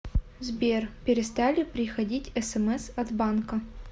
сбер перестали приходить смс от банка